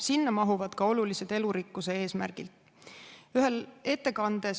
Sinna mahuvad ka olulised elurikkuse eesmärgid.